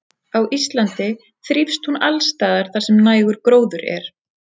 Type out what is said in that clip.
á íslandi þrífst hún alls staðar þar sem nægur gróður er